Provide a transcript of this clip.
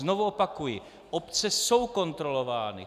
Znovu opakuji, obce jsou kontrolovány.